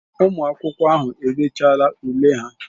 Ụmụ akwụkwọ ahụ edechaala ule ha.